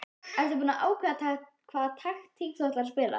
Ertu búinn að ákveða hvaða taktík þú ætlar að spila?